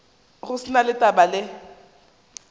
go se na taba le